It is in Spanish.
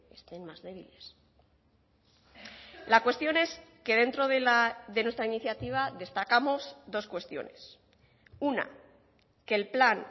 estén más débiles la cuestión es que dentro de nuestra iniciativa destacamos dos cuestiones una que el plan